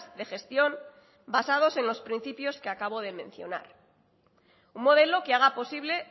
de gestión basados en los principios que acabo de mencionar un modelo que haga posible